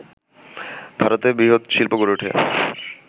ভারতে বৃহৎ শিল্প গড়ে ওঠে